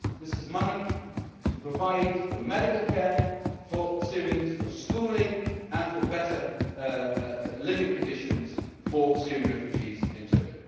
Turkey. This is money to provide for medical care for Syrians, for schooling, and for better living conditions for Syrian refugees in